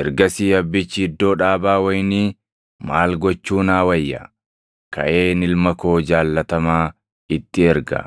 “Ergasii abbichi iddoo dhaabaa wayinii, ‘Maal gochuu naa wayya? Kaʼeen ilma koo jaallatamaa itti erga;